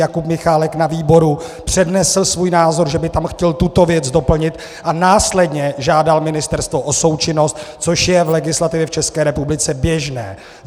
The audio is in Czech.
Jakub Michálek na výboru přednesl svůj názor, že by tam chtěl tuto věc doplnit, a následně žádal ministerstvo o součinnost, což je v legislativě v České republice běžné.